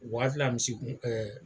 O waafi la misikun ɛɛ